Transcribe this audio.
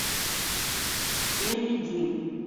элли ди